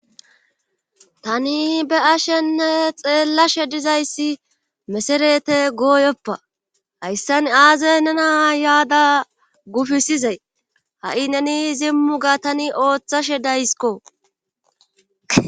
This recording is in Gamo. Tani be ashenne xeellashe dizayssi meserete gooyoppa hayssan aazey nena yaada gufisizay ha'i neni izimmu ga tani ooththashe dayskko